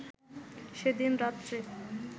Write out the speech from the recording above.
সেদিন রাত্রে